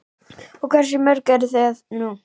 Og hversu mörg eru þau nú?